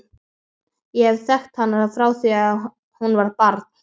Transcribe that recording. Ég hef þekkt hana frá því að hún var barn.